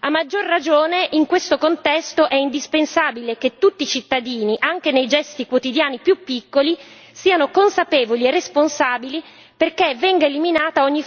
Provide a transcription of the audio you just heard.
A maggior ragione, in questo contesto, è indispensabile che tutti i cittadini, anche nei gesti quotidiani più piccoli, siano consapevoli e responsabili, perché venga eliminata ogni